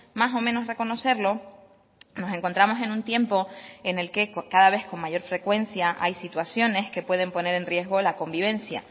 más o menos reconocerlo nos encontramos en un tiempo en el que cada vez con mayor frecuencia hay situaciones que pueden poner en riesgo la convivencia